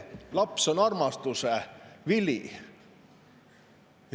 Laps on armastuse vili.